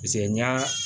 n y'a